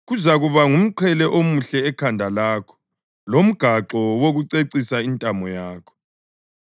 Kuzakuba ngumqhele omuhle ekhanda lakho lomgaxo wokucecisa intamo yakho.